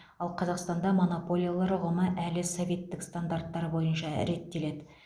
ал қазақстанда монополиялар ұғымы әлі советтік стандарттар бойынша реттеледі